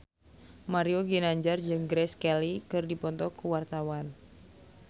Mario Ginanjar jeung Grace Kelly keur dipoto ku wartawan